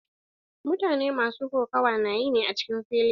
Mutane masu kokawa na yi ne a cikin fili.